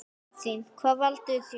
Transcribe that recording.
Katrín: Hvað valdirðu þér?